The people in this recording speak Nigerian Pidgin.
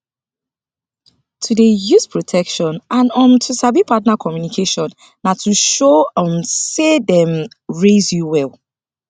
to dey use protection and um to sabi partner communication na to show um say dem um raise you well